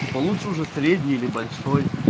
получше уже средний или большой